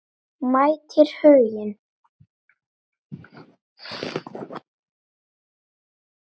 Mætir Huginn?